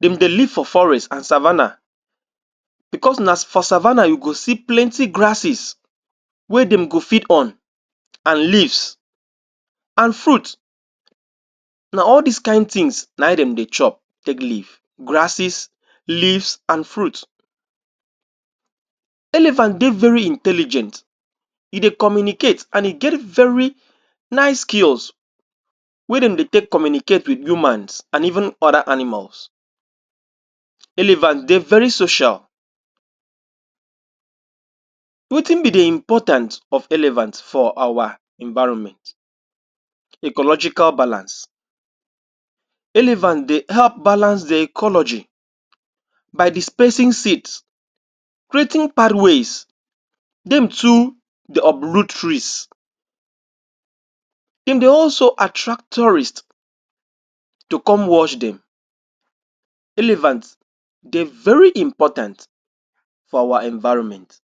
dem dey live for forest and savannah because na for savannah you go see plenty grasses wey dem go feed on and leaves and fruits na all these kain things na im den dey chop take live grasses, leaves and fruits Elephant dey very intelligent e dey communicate, and e get very nice skills wey den dey take communicate with humans and even other animals elephant dey very social wetin be the importance of elephants for our environment ecological balance elephant dey help balance the ecology by displacing seeds creating pathways them too dey uproot trees and dem also attract tourists to cpme watch them elephants dey very important for our environment.